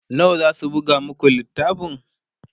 nawa zasu buga maku littafin?